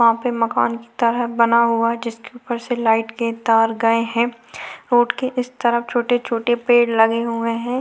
वहा पे मकान की तरह बना हुआ है जिसके ऊपर से लाइट के तार गए है रोड के इस तरफ छोटे छोटे पेड़ लगे हुए है।